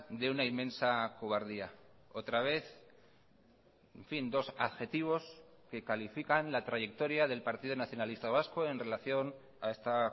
de una inmensa cobardía otra vez en fin dos adjetivos que califican la trayectoria del partido nacionalista vasco en relación a esta